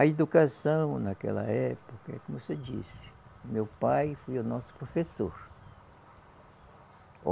A educação naquela época, como você disse, meu pai foi o nosso professor.